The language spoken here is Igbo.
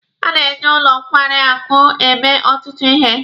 A na-eji ụlọ nkwarị akụ eme ọtụtụ ihe.